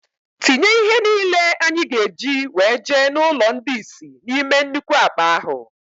Tinye ihe niile anyị ga-eji wee jee n' ụlọ ndị isi na-ime nnukwu akpa ahụ!!!